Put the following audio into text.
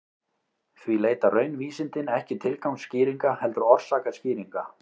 Því leita raunvísindin ekki tilgangsskýringa heldur orsakaskýringa.